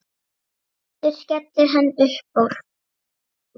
Aftur skellir hann upp úr.